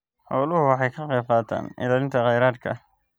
Xooluhu waxay ka qaybqaataan ilaalinta kheyraadka.